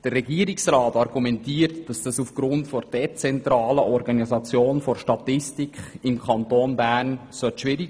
Der Regierungsrat argumentiert, das sei aufgrund der dezentralen Organisation der Statistik im Kanton Bern schwierig.